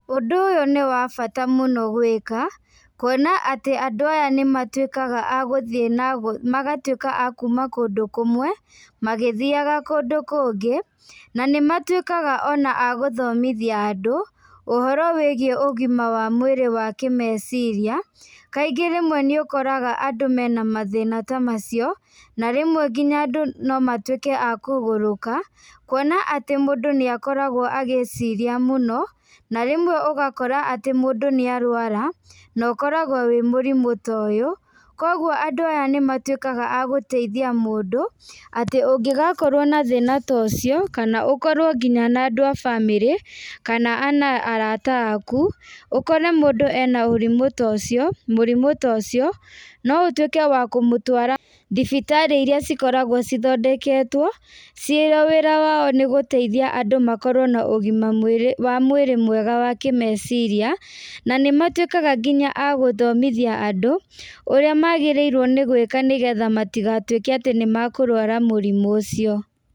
Ũndũ ũyũ nĩ wa bata mũno gwĩka, kuona atĩ andũ aya nĩ matuĩkaga a gũthiĩ na magatuĩka a kuuma kũndũ kũmwe, magĩthiaga kũndũ kũngĩ, na nĩ matuĩkaga ona a gũthomithia andũ, ũhoro wĩgiĩ ũgima wa mwĩrĩ wa kĩmeciria. Kaingĩ rĩmwe nĩ ũkoraga andũ mena mathĩna ta macio, na rĩmwe nginya andũ no matuĩke a kũgũrũka, kuona atĩ mũndũ nĩ akoragwo agĩciria mũno, na rĩmwe ũgakora atĩ mũndũ nĩ arũara, no ũkoragwo wĩ mũrimũ ta ũyũ. Kũguo andũ aya nĩ matuĩkaga a gũteithia mũndũ, atĩ ũngĩgakorwo na thĩna ta ũcio, kana ũkorwo nginya na andũ a bamĩrĩ, kana ona arata aaku, ũkore mũndũ ena ũrimũ ta ũcio, mũrimũ ta ũcio, no ũtuĩke wa kũmũtwara thibitarĩ irĩa cikoragwo cithondeketwo, cirĩa wĩra wao nĩ gũteithia andũ makorwo na ũgima mwĩrĩ wa mwĩrĩ mwega wa kĩmeciria, na nĩ matuĩkaga nginya a gũthomithia andũ, ũrĩa magarĩirwo nĩ gwĩka nĩ getha matigatuĩke atĩ nĩ makũrũara mũrimũ ũcio.